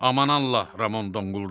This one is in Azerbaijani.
Aman Allah, Ramon donquldandı.